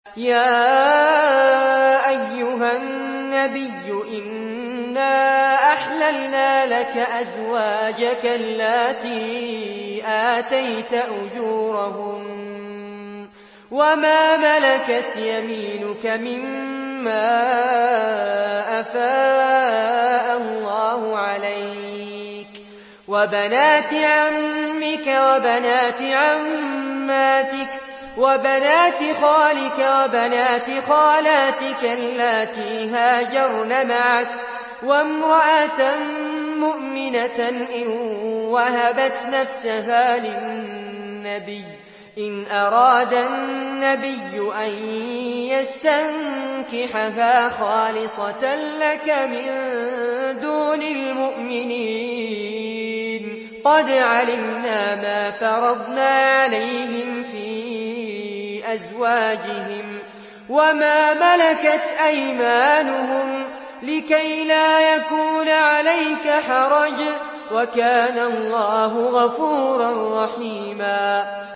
يَا أَيُّهَا النَّبِيُّ إِنَّا أَحْلَلْنَا لَكَ أَزْوَاجَكَ اللَّاتِي آتَيْتَ أُجُورَهُنَّ وَمَا مَلَكَتْ يَمِينُكَ مِمَّا أَفَاءَ اللَّهُ عَلَيْكَ وَبَنَاتِ عَمِّكَ وَبَنَاتِ عَمَّاتِكَ وَبَنَاتِ خَالِكَ وَبَنَاتِ خَالَاتِكَ اللَّاتِي هَاجَرْنَ مَعَكَ وَامْرَأَةً مُّؤْمِنَةً إِن وَهَبَتْ نَفْسَهَا لِلنَّبِيِّ إِنْ أَرَادَ النَّبِيُّ أَن يَسْتَنكِحَهَا خَالِصَةً لَّكَ مِن دُونِ الْمُؤْمِنِينَ ۗ قَدْ عَلِمْنَا مَا فَرَضْنَا عَلَيْهِمْ فِي أَزْوَاجِهِمْ وَمَا مَلَكَتْ أَيْمَانُهُمْ لِكَيْلَا يَكُونَ عَلَيْكَ حَرَجٌ ۗ وَكَانَ اللَّهُ غَفُورًا رَّحِيمًا